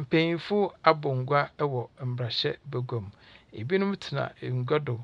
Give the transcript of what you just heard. Mpanyinfo abɔ ngua ɛwɔ Mmrahyɛ Baguam. Ebinom tsena ngua do